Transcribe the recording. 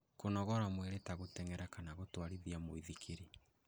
Kũnogora mwĩrĩ ta gũteng'era kana gũtwarithia mũithikiri